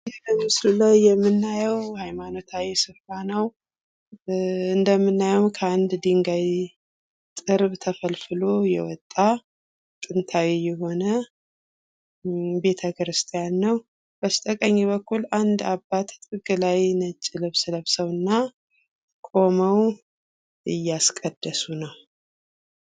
ይህ በምስሉ ላይ የምናየው ሀይማኖታዊ ስፍራ ነው እንደምናየው ከአንድ ድንጋይ ጥርብ ተፈልፍሎ የወጣ ጥንታዊ የሆነ ቤተክርስቲያን ነው ። በስተቀኝ በኩል አንድ አባት ከላይ ነጭ ልብስ ለብሰው እና ቁመው እያስቀደሱ ነው ።